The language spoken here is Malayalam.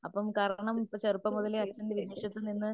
അപ്പം കാരണം ഇപ്പം ചെറുപ്പം മുതലേ അച്ഛൻ വിദേശത്തുനിന്ന്